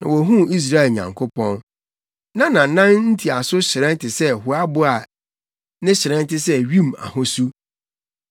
na wohuu Israel Nyankopɔn. Na nʼanan ntiaso hyerɛn te sɛ hoabo a ne hyerɛn te sɛ wim ahosu.